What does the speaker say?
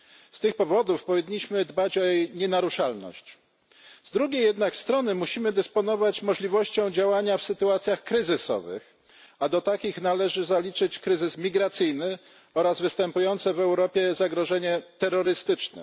Z tych powodów powinniśmy dbać o jej nienaruszalność. Z drugiej jednak strony musimy dysponować możliwością działania w sytuacjach kryzysowych, a do takich należy zaliczyć kryzys migracyjny oraz występujące w Europie zagrożenie terrorystyczne.